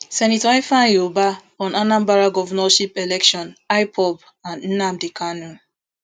senator ifeanyi ubah on anambra governorship election ipob and nnamdi kanu